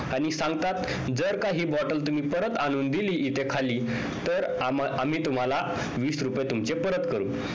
आणि सांगतात जर का हि bottle तुम्ही परत आणून दिली इथे खाली तर आम्ही तुम्हाला वीस रुपये तुमचे परत करू